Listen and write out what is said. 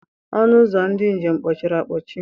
Ọnụ ụzọ ndị njem kpọchiri akpọchi.